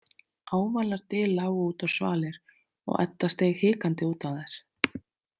Ávalar dyr lágu út á svalir og Edda steig hikandi út á þær.